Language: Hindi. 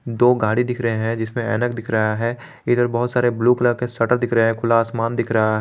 दो गाड़ी दिख रहे हैं जिसमें ऐनक दिख रहा है इधर बहुत सारे ब्लू कलर के शटर दिख रहा है खुला आसमान दिख रहा --